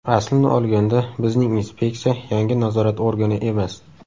Aslini olganda bizning inspeksiya yangi nazorat organi emas.